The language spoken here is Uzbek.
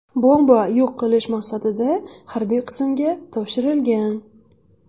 Bomba yo‘q qilish maqsadida harbiy qismga topshirilgan.